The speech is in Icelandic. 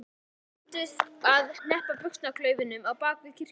Þeir rembdust við að hneppa buxnaklaufunum á bak við kirkjuna.